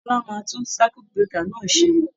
Bọ́lá máa tún circuit breaker náà ṣe.